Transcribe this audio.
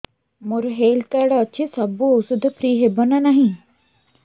ମୋର health card ଅଛି ସବୁ ଔଷଧ ଫ୍ରି ହବ ନା ନାହିଁ